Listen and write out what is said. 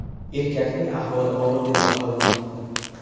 Erkakning ahvoli og‘ir deb baholanmoqda.